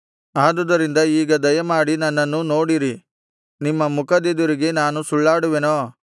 ಆದುದರಿಂದ ಈಗ ದಯಮಾಡಿ ನನ್ನನ್ನು ನೋಡಿರಿ ನಿಮ್ಮ ಮುಖದೆದುರಿಗೆ ನಾನು ಸುಳ್ಳಾಡುವೆನೋ